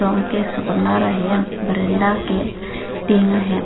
ahem veranda ke tin ahem.